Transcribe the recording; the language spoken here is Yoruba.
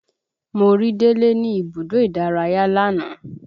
Mo rí délé ní ibùdó ìdárayá lánàá